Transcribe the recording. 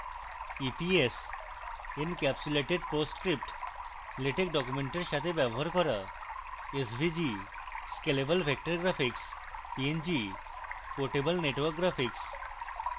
epsencapsulated post script latex documents সাথে ব্যবহার করা